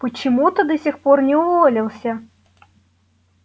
почему ты до сих пор не уволился